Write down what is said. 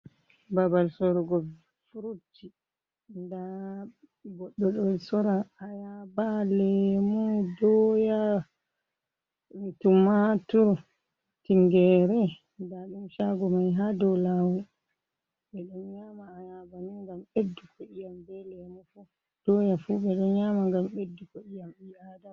Babal sorugo furut, nda goɗɗo ɗo sora ayaaba, lemu, doya, tumatur, tingere, nda ɗum shaago mai ha dou lawol, ɓe ɗo nyama ayaba ni ngam ɓedduko iyam be lemu fu, doya fu be ɗon nyama ngam ɓedduko iyam ɓi'aadama.